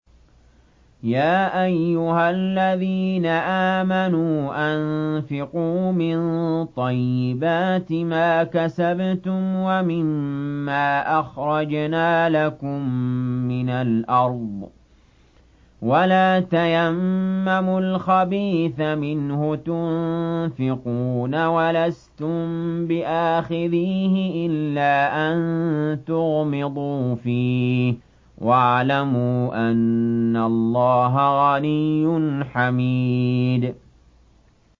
يَا أَيُّهَا الَّذِينَ آمَنُوا أَنفِقُوا مِن طَيِّبَاتِ مَا كَسَبْتُمْ وَمِمَّا أَخْرَجْنَا لَكُم مِّنَ الْأَرْضِ ۖ وَلَا تَيَمَّمُوا الْخَبِيثَ مِنْهُ تُنفِقُونَ وَلَسْتُم بِآخِذِيهِ إِلَّا أَن تُغْمِضُوا فِيهِ ۚ وَاعْلَمُوا أَنَّ اللَّهَ غَنِيٌّ حَمِيدٌ